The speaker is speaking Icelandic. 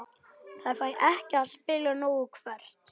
Fær ekki að spila nóg Hvert?